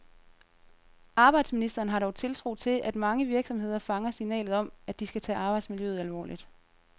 Arbejdsministeren har dog tiltro til, at mange virksomheder fanger signalet om, at de skal tage arbejdsmiljøet alvorligt.